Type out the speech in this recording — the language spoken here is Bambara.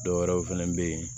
Dɔwɛrɛw fɛnɛ be yen